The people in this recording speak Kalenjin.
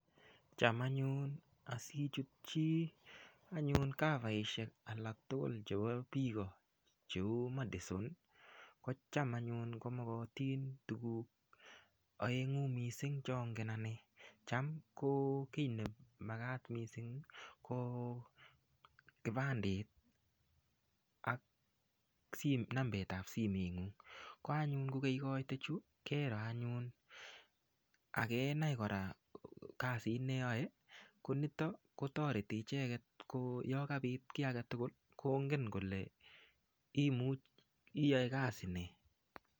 Cham anyun asichut chi kavaisiek alak tugul chebo biik, cheu Madison, kocham anyun ko magatin tuguk aengu mising chongen anne. Cham ko kiy nemagat mising ko kibandit ak nambetab simeng'ung. Koanyun ko keikoite chu keroo anyun ak kenai kora kasit ne yoe konito kotareti icheget yo kapit kiy age tugul kongen kole imuch, iyoe kasi nee?